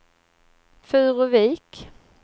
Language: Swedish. Furuvik